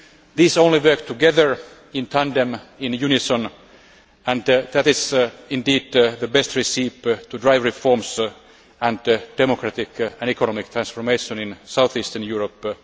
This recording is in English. These only work together in tandem, in unison and that is, indeed, the best recipe for driving reforms and democratic and economic transformation in south eastern Europe.